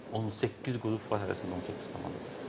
18 qrup var, hərəsində 18 komanda var.